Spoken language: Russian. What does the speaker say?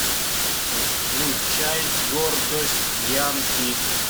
включай гордость янки